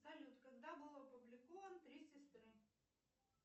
салют когда был опубликован три сестры